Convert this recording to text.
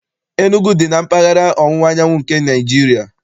Enugwu dị na mpaghara ọwụwa anyanwụ nke Naịjirịa.